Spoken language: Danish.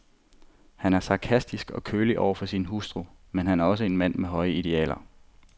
Han er sarkastisk og kølig over for sin hustru, men han er også en mand med høje idealer.